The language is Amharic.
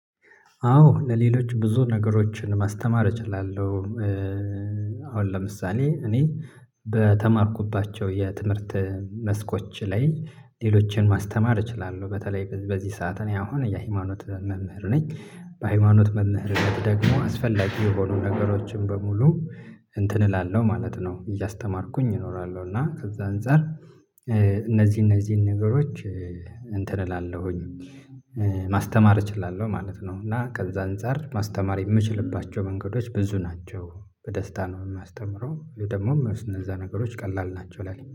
አዎ ለሌሎች ብዙ ነገሮችን ማስተማር እችላለሁ። አሁን ለምሳሌ እኔ በተማርኩባቸው የትምህርት መስኮች ላይ ሌሎችን ማስተማር እችላለሁ። በተለይ በዚህ ሰዓት እኔ አሁን የሃይማኖት መምህር ነኝ። በሃይማኖት መምህርነት ደግሞ አስፈላጊ የሆኑ ነገሮችን በሙሉ እንትን እላለሁ ማለት ነው እያስተማርኩኝ እኖራለሁ። እና ከዛ አንፃር እነዚህ እነዚህን ነገሮች እንትን እላለሁኝ ማስተማር እችላለሁ ማለት ነው። እና ከዛ አንፃር ማስተማር የምችልባቸው መንገዶች ብዙ ናቸው። በደስታ ነው ማስተምረው ወይ ደግሞ እነዛ ነገሮች ቀላል ናቸው ለኔ